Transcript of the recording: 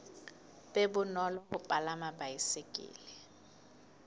be bonolo ho palama baesekele